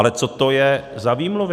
Ale co to je za výmluvy?